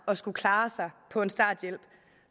at skulle klare sig på en starthjælp